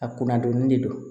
A kun ka dɔnni de don